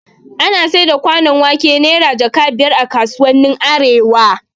Ana saida kwanon wake Naira jaka biyar a kasuwannin arewa